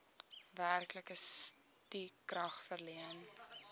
werklike stukrag verleen